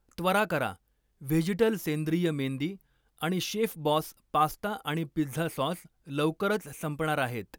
त्वरा करा, व्हेजीटल सेंद्रिय मेंदी आणि शेफबॉस पास्ता आणि पिझ्झा सॉस लवकरच संपणार आहेत.